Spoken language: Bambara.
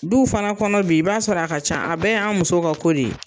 Duw fana kɔnɔ bi i b'a sɔrɔ a ka ca, a bɛɛ y'an muso ka ko de ye.